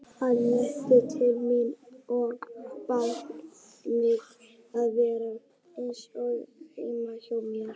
Hann leit til mín og bað mig að vera eins og heima hjá mér.